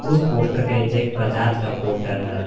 उस पोस्टर के नीचे एक बजाज का पोस्टर है।